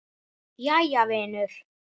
Jæja vinur.